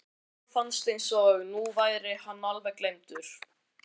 En Lalla fannst eins og nú væri hann alveg gleymdur.